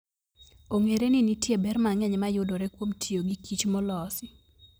Ong'ere ni nitie ber mang'eny mayudore kuom tiyo gi kich molos.